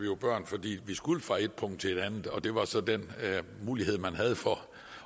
vi var børn fordi vi skulle fra ét punkt til et andet og det var så den mulighed man havde for